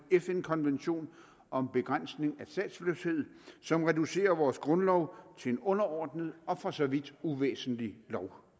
fn konvention om begrænsning af statsløshed som reducerer vores grundlov til en underordnet og for så vidt uvæsentlig lov